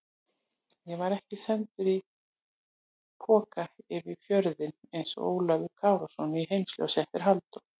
Ég var ekki sendur í poka yfir fjörðinn einsog Ólafur Kárason í Heimsljósi eftir Halldór